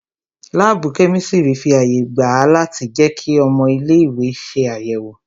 Láàbù kẹ́mísírì fi àyè gba a láti jẹ kí ọmọ ilé ìwé ṣe àyẹ̀wò